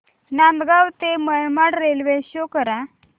नांदगाव ते Manmad railway show करा